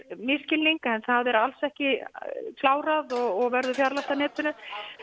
misskilning það er alls ekki klárað og verður fjarlægt af netinu